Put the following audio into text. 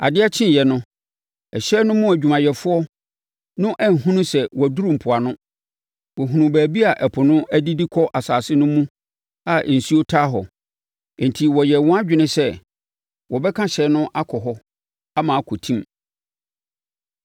Adeɛ kyeeɛ no, hyɛn no mu adwumayɛfoɔ no anhunu sɛ wɔaduru mpoano. Wɔhunuu baabi a ɛpo no adidi akɔ asase no mu a nsuo taa hɔ. Enti, wɔyɛɛ wɔn adwene sɛ wɔbɛka hyɛn no akɔ hɔ ama akɔtim.